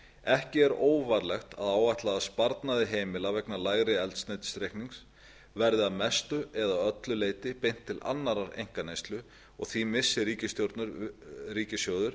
ekki er óvarlegt að áætla að sparnaði heimila vegna lægri eldsneytisreiknings verði að mestu eða öllu leyti beint til annarrar einkaneyslu og því missi ríkissjóður